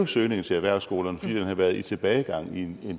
søgningen til erhvervsskolerne fordi den har været i tilbagegang i en